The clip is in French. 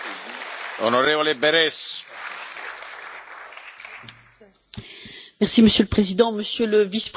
Monsieur le Président, Monsieur le Vice président, chers collègues, parfois l'histoire se répète, parfois l'histoire bégaie.